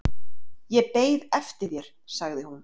"""Ég beið eftir þér, sagði hún."""